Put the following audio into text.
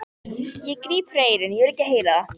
Ég gríp fyrir eyrun, ég vil ekki heyra það!